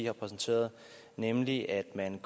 har præsenteret nemlig at man